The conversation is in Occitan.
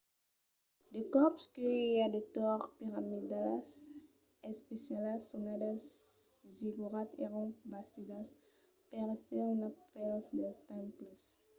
de còps que i a de torres piramidalas especialas sonadas zigorats èran bastidas per èsser una part dels temples